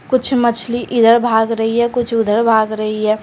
कुछ मछली इधर भाग रही है कुछ उधर भाग रही है।